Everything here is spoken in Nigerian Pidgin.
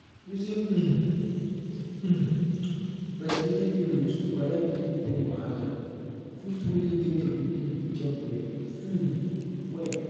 using um um breastfeeding pillows to correct nipple pain wahala fit truly make your pikin dey chop well um well